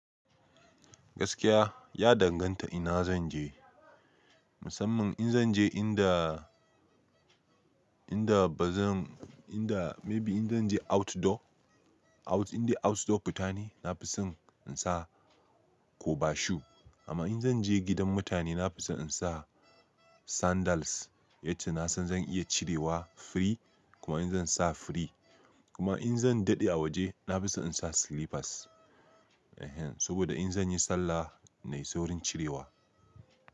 Gaskiya ya danganta ina zanje, musamman in zanje inda, inda bazan, inda maybe in zanje outdoor, out in dai outdoor fitane nafison in sa kobashu amma in zanje gidan mutane nafison in sa sandals, yace nasan zan iya cirewa free kuma in zansa free. Kuma in zan dade a waje nafison in sa slippers, ehen, saboda in zanyi sallah nayi saurin cirewa.